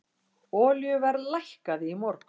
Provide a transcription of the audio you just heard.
Olíuverð lækkaði í morgun.